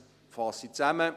Ich fasse zusammen: